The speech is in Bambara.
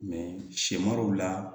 sɛmari la